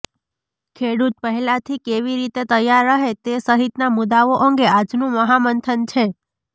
ખેડૂત પહેલાથી કેવી રીતે તૈયાર રહે તે સહિતના મુદ્દાઓ અંગે આજનું મહામંથન છે